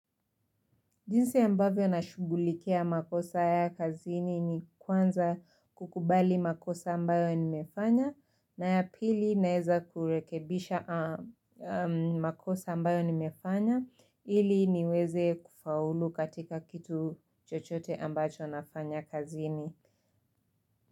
Jinsi ambavyo nashugulikia makosa ya kazini ni kwanza kukubali makosa ambayo nimefanya na ya pili naweza kurekebisha makosa ambayo nimefanya ili niweze kufaulu katika kitu chochote ambacho nafanya kazini.